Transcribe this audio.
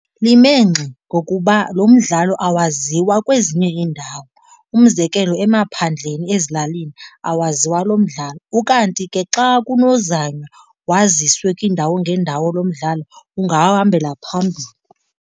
Lime ngxi ngokuba lo mdlalo awaziwa kwezinye iindawo. Umzekelo emaphandleni ezilalini, awaziwa lo mdlalo. Ukanti ke xa kunozanywa waziswe kwiindawo ngeendawo lo mdlalo ungahambela phambili.